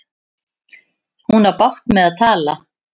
Hún á bágt með að tala.